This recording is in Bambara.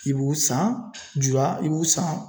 I b'u san i b'u san.